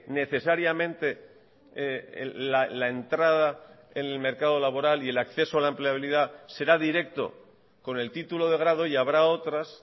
necesariamente la entrada en el mercado laboral y el acceso a la empleabilidad será directo con el título de grado y habrá otras